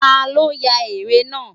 Ta ló ya ère náà?